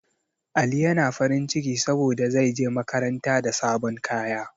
Ali yana farin ciki saboda zai je makaranta da sabon kaya